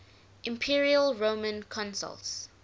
imperial roman consuls